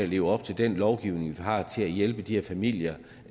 leve op til den lovgivning vi har der skal hjælpe de her familier